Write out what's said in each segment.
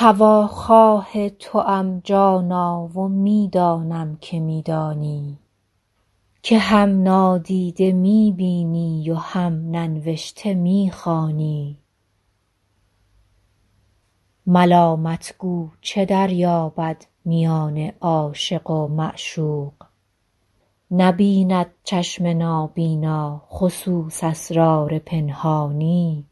هواخواه توام جانا و می دانم که می دانی که هم نادیده می بینی و هم ننوشته می خوانی ملامت گو چه دریابد میان عاشق و معشوق نبیند چشم نابینا خصوص اسرار پنهانی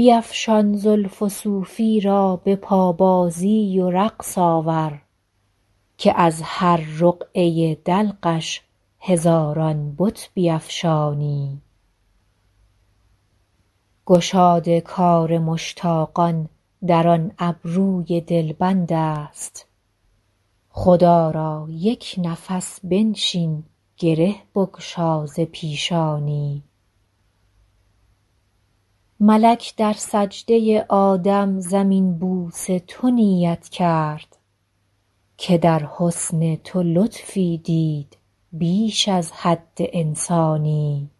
بیفشان زلف و صوفی را به پابازی و رقص آور که از هر رقعه دلقش هزاران بت بیفشانی گشاد کار مشتاقان در آن ابروی دلبند است خدا را یک نفس بنشین گره بگشا ز پیشانی ملک در سجده آدم زمین بوس تو نیت کرد که در حسن تو لطفی دید بیش از حد انسانی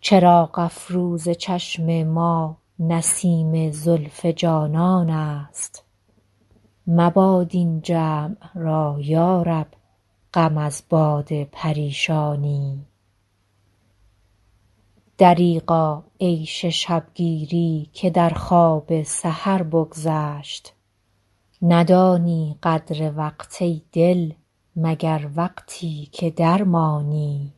چراغ افروز چشم ما نسیم زلف جانان است مباد این جمع را یا رب غم از باد پریشانی دریغا عیش شب گیری که در خواب سحر بگذشت ندانی قدر وقت ای دل مگر وقتی که درمانی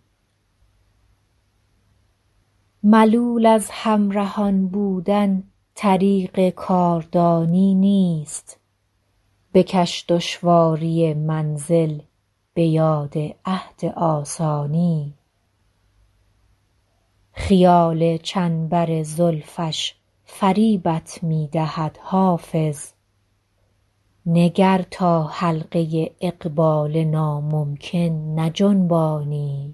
ملول از همرهان بودن طریق کاردانی نیست بکش دشواری منزل به یاد عهد آسانی خیال چنبر زلفش فریبت می دهد حافظ نگر تا حلقه اقبال ناممکن نجنبانی